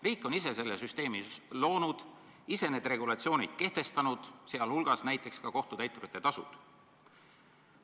Riik on ise selle süsteemi loonud, ise need regulatsioonid kehtestanud, sh näiteks kohtutäiturite tasud.